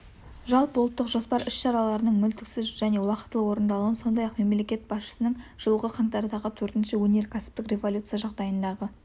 жалпыұлттық жоспар іс-шараларының мүлтіксіз және уақтылы орындалуын сондай-ақ мемлекет басшысының жылғы қаңтардағы төртінші өнеркәсіптік революция жағдайындағы